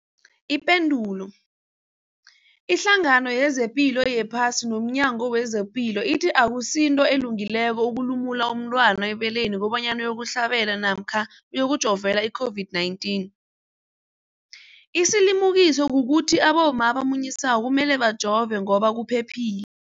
Ipendulo, iHlangano yezePilo yePhasi nomNyango wezePilo ithi akusinto elungileko ukulumula umntwana ebeleni kobanyana uyokuhlabela namkha uyokujovela i-COVID-19. Isilimukiso kukuthi abomma abamunyisako kumele bajove ngoba kuphephile.